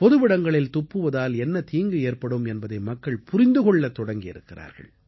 பொதுவிடங்களில் துப்புவதால் என்ன தீங்கு ஏற்படும் என்பதை மக்கள் புரிந்து கொள்ளத் தொடங்கி இருக்கிறார்கள்